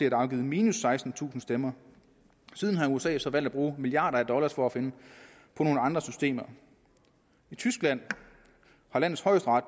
er afgivet minus sekstentusind stemmer siden har usa så valgt at bruge milliarder af dollars for at finde på nogle andre systemer i tyskland har landets højesteret